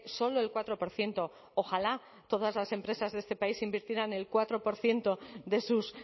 solo el cuatro por ciento ojalá todas las empresas de este país invirtieran el cuatro por ciento de sus